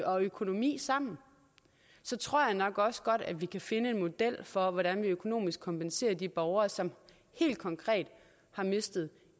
og økonomi sammen så tror jeg nok også godt at vi kan finde en model for hvordan vi økonomisk kompenserer de borgere som helt konkret har mistet